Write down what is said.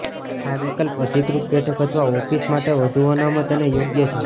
આ વિકલ્પ અધિકૃત બેઠક અથવા ઓફિસ માટે વધુ અનામત અને યોગ્ય છે